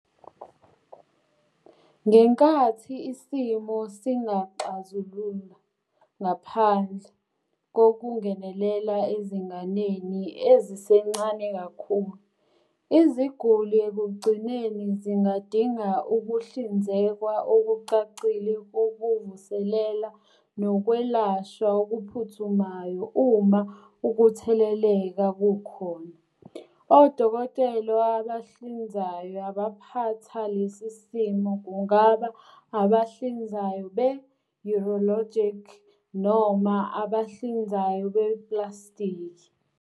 Ngenkathi isimo singazixazulula ngaphandle kokungenelela ezinganeni ezisencane kakhulu, iziguli ekugcineni zingadinga ukuhlinzekwa okucacile kokuvuselela nokwelashwa okuphuthumayo uma ukutheleleka kukhona. Odokotela abahlinzayo abaphatha lesi simo kungaba abahlinzayo be-urologic noma abahlinzayo beplastiki.